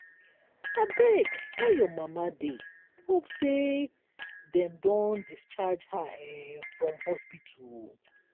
abeg how your mama dey hope sey dem don discharge her um from hospital. um